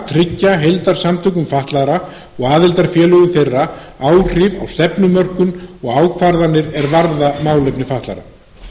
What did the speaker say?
tryggja heildarsamtökum fatlaðra og aðildarfélögum þeirra áhrif á stefnumörkun og ákvarðanir er varða málefni fatlaðra